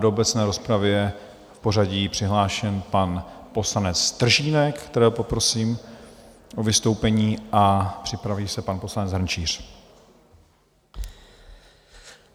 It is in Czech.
Do obecné rozpravy je v pořadí přihlášen pan poslanec Stržínek, kterého poprosím o vystoupení, a připraví se pan poslanec Hrnčíř.